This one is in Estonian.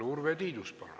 Urve Tiidus, palun!